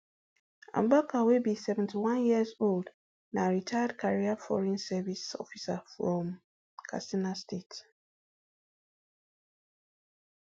abubakar wey be seventy-one years old na retired career foreign service officer from katsina state